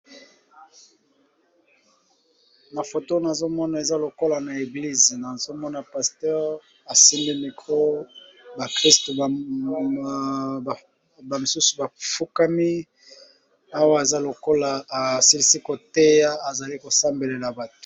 na foto nazomona eza lokola na eglise nazomona paster asimbi micro ba christo misusu bafukami awa eza lokola asilisi koteya azali kosambelela bato